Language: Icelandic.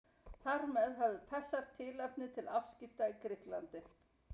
Þar með höfðu Persar tilefni til afskipta í Grikklandi.